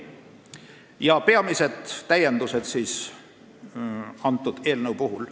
Nüüd peamistest täiendustest, mis eelnõuga on ette nähtud.